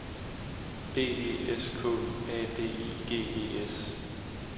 B E S K A D I G E S